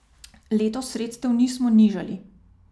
Letos sredstev nismo nižali.